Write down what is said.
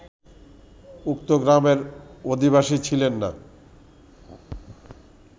উক্ত গ্রামের অধিবাসী ছিলেন না